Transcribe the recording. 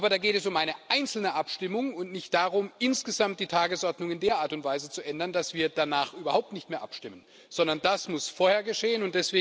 Aber da geht es um eine einzelne Abstimmung und nicht darum, insgesamt die Tagesordnung in der Art und Weise zu ändern, dass wir danach überhaupt nicht mehr abstimmen, sondern das muss vorher geschehen.